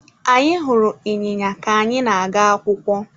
Anyị hụrụ ịnyịnya ka anyị na-aga akwụkwọ.